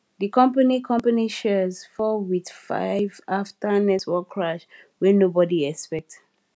di company company shares fall with 5 after network crash wey nobody expect